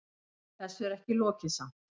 Þessu er ekki lokið samt.